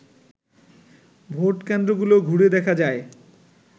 vote কেন্দ্রগুলো ঘুরে দেখা যায়